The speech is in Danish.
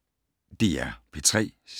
DR P3